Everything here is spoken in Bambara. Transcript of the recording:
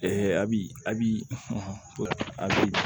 abi abi a bi